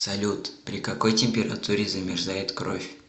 салют при какой температуре замерзает кровь